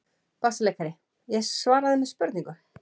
BASSALEIKARI: Ég svaraði með spurningu.